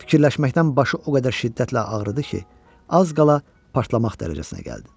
Fikirləşməkdən başı o qədər şiddətlə ağrıdı ki, az qala partlamaq dərəcəsinə gəldi.